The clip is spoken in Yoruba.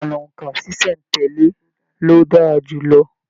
Ìlànà óńka ṣiṣẹ n tẹle ló dára jùlọ.